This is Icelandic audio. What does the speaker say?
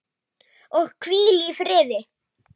Og hvíl í friði.